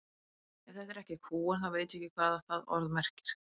Ef þetta er ekki kúgun þá veit ég ekki hvað það orð merkir.